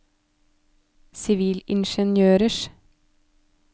sivilingeniørers